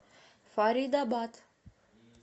фаридабад